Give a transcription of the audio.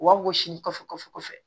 U b'a wɔsi kɔfɛ